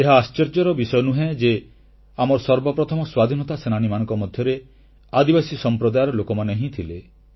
ଏହା ଆଶ୍ଚର୍ଯ୍ୟର ବିଷୟ ନୁହେଁ ଯେ ଆମର ସର୍ବପ୍ରଥମ ସ୍ୱତନ୍ତ୍ରତା ସେନାନୀମାନଙ୍କ ମଧ୍ୟରେ ଆଦିବାସୀ ସମ୍ପ୍ରଦାୟର ଲୋକମାନେ ହିଁ ଥିଲେ